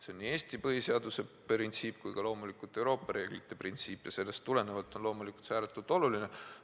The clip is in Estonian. See on nii Eesti põhiseaduse printsiip kui ka loomulikult Euroopa reeglite printsiip ja sellest tulenevalt on see ääretult oluline.